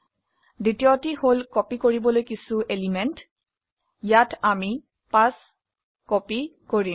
দ্বিতীয়টি হল কপি কৰিবলৈ কিছো এলিমেন্ট ইয়াত আমি 5 কপি কৰিম